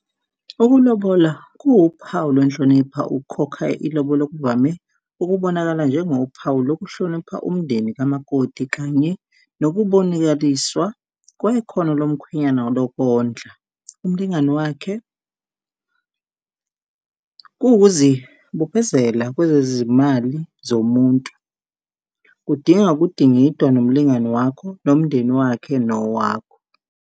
Ukulobola kuwuphawu lwenhlonipha, ukukhokha ilobolo kuvame ukubonakala njengophawu lokuhlonipha umndeni kamakoti kanye nokubonikaliswa kwekhono lomkhwenyana lokondla umlingani wakhe. Kuwukuzibophezela kwezezimali zomuntu, kudinga ukudingidwa nomlingani wakho nomndeni wakhe, nowakho.